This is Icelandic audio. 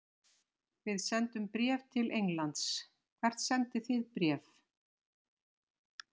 Við sendum bréf til Englands. Hvert sendið þið bréf?